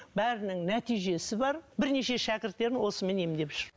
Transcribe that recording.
бәрінің нәтижесі бар бірнеше шәкірттерін осымен емдеп жүр